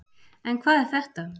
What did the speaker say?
En hvað er þetta?